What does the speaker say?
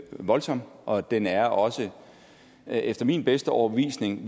voldsom og den er også efter min bedste overbevisning